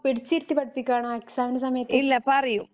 പിടിച്ചിരുത്തി പഠിപ്പിക്കുവാനോ എക്സാമിന്റെ സമയത്തു.